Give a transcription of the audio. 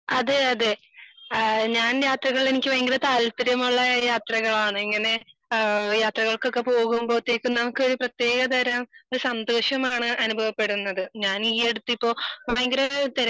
അതെ അതെ ആഹ് ഞാൻ യാത്രകൾ എനിക്ക് ഭയങ്കര താല്പര്യമുള്ള യാത്രകളാണ് ആണ് ഇങ്ങനെ ഏഹ് യാത്രകൾക്കൊക്കെ പോകുമ്പോത്തേക്കും നമുക്ക് ഒരു പ്രതേക തരം ഒരു സന്തോഷമാണ് അനുഭവപ്പെടുന്നത്. ഞാൻ ഈ അടുത്തിപ്പോ ഇപ്പൊ ഭയങ്കര ഒരു